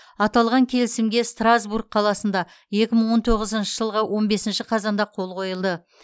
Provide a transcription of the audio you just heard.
аталған келісімге страсбург қаласында екі мың он тоғызыншы жылғы он бесінші қазанда қол қойылды